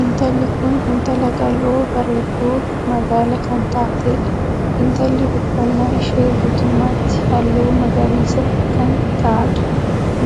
Intalli kun intala qal'oo bareedduu magaala kan taateedha. intalli uffannaa ishee guutumaatti halluu magariisa kan taadha.